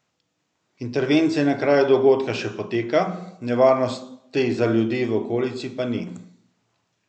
Intervencija na kraju dogodka še poteka, nevarnosti za ljudi v okolici pa ni.